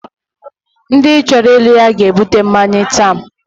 Ndi choro innu ya ga ebute mmanya ta